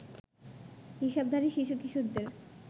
হিসাবধারী শিশু-কিশোরদের